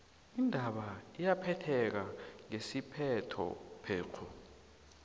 indaba iyaphetheka ngesiphetho phekghu